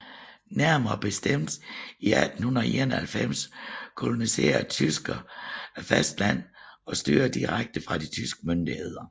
Nærmere bestemt i 1891 koloniserede tyskerne fastlandet og styrede det direkte fra de tyske myndigheder